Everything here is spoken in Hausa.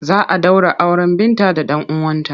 Za a ɗaura auren Binta da ɗan uwanta.